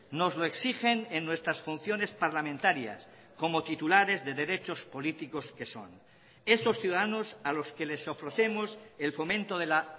nos lo exigen en nuestras funciones parlamentarias como titulares de derechos políticos que son esos ciudadanos a los que les ofrecemos el fomento de la